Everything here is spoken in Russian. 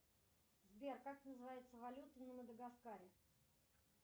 сбер как называется валюта на мадагаскаре